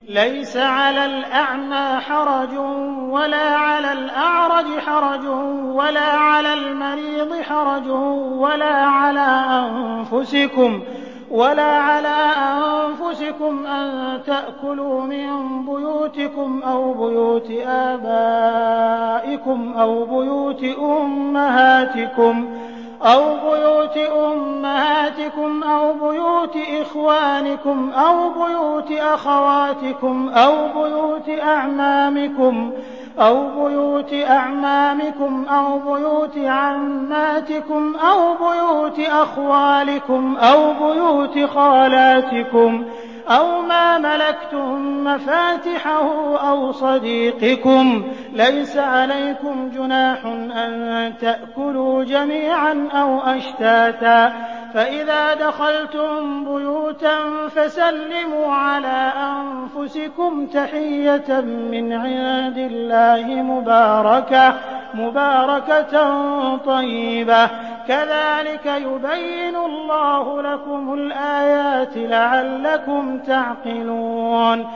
لَّيْسَ عَلَى الْأَعْمَىٰ حَرَجٌ وَلَا عَلَى الْأَعْرَجِ حَرَجٌ وَلَا عَلَى الْمَرِيضِ حَرَجٌ وَلَا عَلَىٰ أَنفُسِكُمْ أَن تَأْكُلُوا مِن بُيُوتِكُمْ أَوْ بُيُوتِ آبَائِكُمْ أَوْ بُيُوتِ أُمَّهَاتِكُمْ أَوْ بُيُوتِ إِخْوَانِكُمْ أَوْ بُيُوتِ أَخَوَاتِكُمْ أَوْ بُيُوتِ أَعْمَامِكُمْ أَوْ بُيُوتِ عَمَّاتِكُمْ أَوْ بُيُوتِ أَخْوَالِكُمْ أَوْ بُيُوتِ خَالَاتِكُمْ أَوْ مَا مَلَكْتُم مَّفَاتِحَهُ أَوْ صَدِيقِكُمْ ۚ لَيْسَ عَلَيْكُمْ جُنَاحٌ أَن تَأْكُلُوا جَمِيعًا أَوْ أَشْتَاتًا ۚ فَإِذَا دَخَلْتُم بُيُوتًا فَسَلِّمُوا عَلَىٰ أَنفُسِكُمْ تَحِيَّةً مِّنْ عِندِ اللَّهِ مُبَارَكَةً طَيِّبَةً ۚ كَذَٰلِكَ يُبَيِّنُ اللَّهُ لَكُمُ الْآيَاتِ لَعَلَّكُمْ تَعْقِلُونَ